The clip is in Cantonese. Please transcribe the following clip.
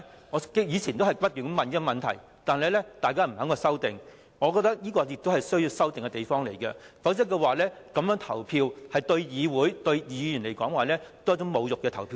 我以往曾不停追問這個問題，但大家也不肯作出修訂，我覺得這是需要修訂的地方，否則在此安排下投票，對議會、議員而言也是一種侮辱。